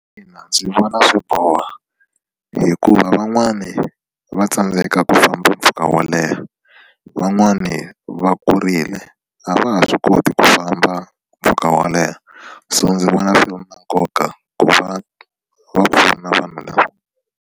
Ina ndzi vona swi boha hikuva van'wani va tsandzeka ku famba mpfhuka wo leha van'wani va kurile a va ha swi koti ku famba mpfhuka wo leha so ndzi vona swi ri na nkoka ku va va pfuna vanhu lava.